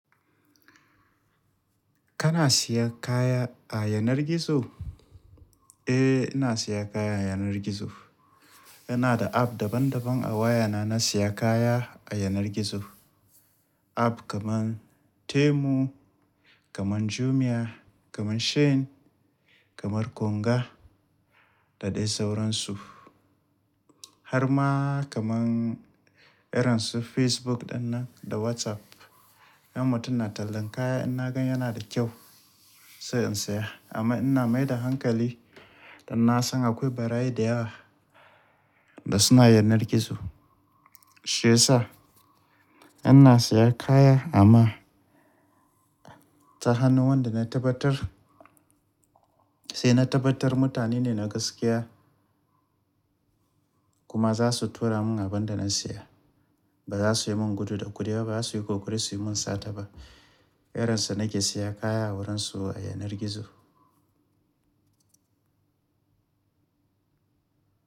Kana siyan kaya a yanar gizo? Eh, ina siya kaya a yanar gizo. Ina da app daban daban a waya na, na siya kaya a yanar gizo. App kaman Temu, kaman Jumia, kaman Shein, kamar Konga da dai sauransu. Har ma kaman irin su Facebook ɗannan da WhatsApp. Yan mutane na tallan kaya, in na gan yana da kyau sai in siya. Amma ina mai da hankali da na san akwai bara'yi da yawa da suna yanar gizo. Shiyasa ina siya kaya amma ta hannu wanda na tabbatar, sai na tabbatar mutane ne na gaskiya kuma za su tura mun abin da na siya. Ba za su yi mun gudu da kuɗi ba, ba za su yi kokori su yi mun sata ba. Irin su nake siya kaya a wurin su a yanar gizo.